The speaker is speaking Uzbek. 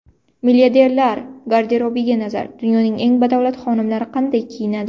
Milliarderlar garderobiga nazar: Dunyoning eng badavlat xonimlari qanday kiyinadi?